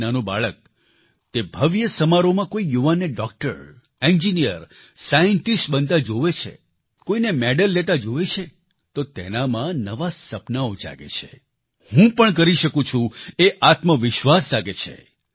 એક નાનું બાળક તે ભવ્ય સમારોહમાં કોઈ યુવાનને ડોક્ટર એન્જિનિયર સાઈન્ટિસ્ટ બનતા જોવે છે કોઈને મેડલ લેતા જોવે છે તો તેનામાં નવા સપનાઓ જાગે છે હું પણ કરી શકું છું એ આત્મવિશ્વાસ જાગે છે